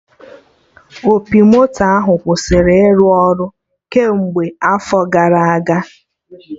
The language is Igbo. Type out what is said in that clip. Opi moto ahụ kwụsịrị ịrụ ọrụ kemgbe afọ gara aga